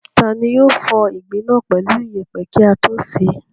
Ta ni yóò fọ ìgbín náà pẹ̀lú ìyẹ̀pẹ̀ kí á tó sè é?